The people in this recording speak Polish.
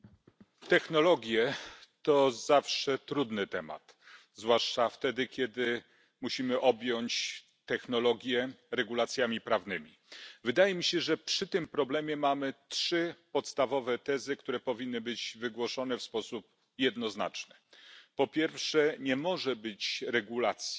Panie Przewodniczący! Technologie to zawsze trudny temat, zwłaszcza wtedy kiedy musimy objąć technologie regulacjami prawnymi. Wydaje mi się, że przy tym problemie mamy trzy podstawowe tezy, które powinny być wygłoszone w sposób jednoznaczny. Po pierwsze, nie może być regulacji